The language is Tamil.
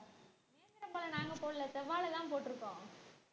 நேந்திரம் பழம் நாங்க போடல செவ்வாழை தான் போட்டிருக்கோம்